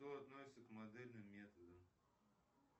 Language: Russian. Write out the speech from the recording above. что относится к модельным методам